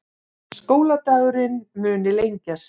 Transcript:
Skóladagurinn muni lengjast